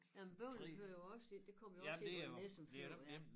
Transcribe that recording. Jamen Bøvling hører jo også ind det kommer jo også ind ved Nissum Fjord ja